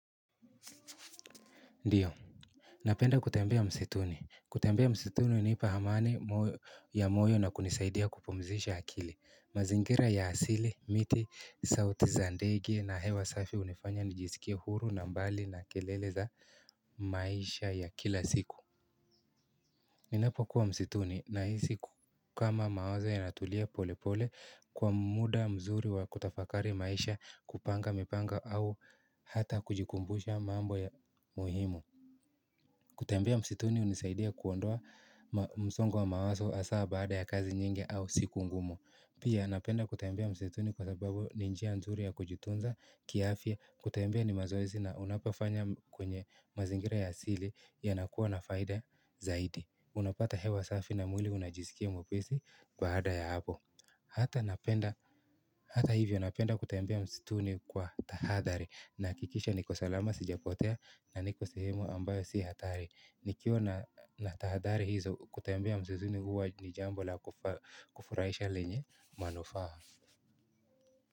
Ndiyo. Napenda kutembea msituni. Kutembea msituni hunipa amani ya moyo na kunisaidia kupumzisha akili. Mazingira ya asili, miti, sauti za ndege na hewa safi hunifanya nijisikie huru na mbali na kelele za maisha ya kila siku. Ninapokuwa msituni nahisi kama mawazo yanatulia pole pole kwa muda mzuri wa kutafakari maisha kupanga mipanga au hata kujikumbusha mambo ya muhimu. Kutembea msituni unisaidia kuondoa msongo wa mawazo hasa baada ya kazi nyingi au siku ngumo. Pia napenda kutembea msituni kwa sababu ni njia nzuri ya kujitunza, kiafya, kutembea ni mazoezi na unapafanya kwenye mazingira ya asili yanakuwa na faida zaidi. Unapata hewa safi na mwili unajisikia mwepesi baada ya hapo. Hata hivyo napenda kutembea msituni kwa tahadhari. Nahakikisha niko salama sijapotea na niko sehemu ambayo sibhatari. Nikiwa na tahadhari hizo kutembea msituni huwa ni jambo la kufurahisha lenye manufaa.